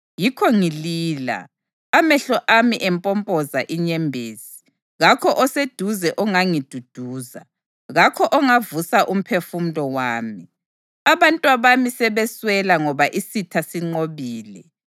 Yikho ngilila, amehlo ami empompoza inyembezi. Kakho oseduze ongangiduduza, kakho ongavusa umphefumulo wami. Abantwabami sebeswela ngoba isitha sinqobile.”